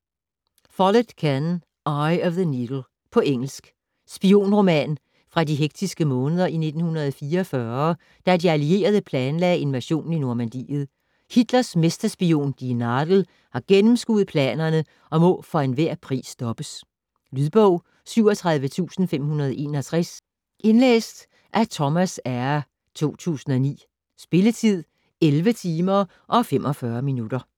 Follett, Ken: Eye of the needle På engelsk. Spionroman fra de hektiske måneder i 1944, da de allierede planlagde invasionen i Normandiet. Hitlers mesterspion "die Nadel" har gennemskuet planerne og må for enhver pris stoppes. Lydbog 37561 Indlæst af Thomas Eyre, 2009. Spilletid: 11 timer, 45 minutter.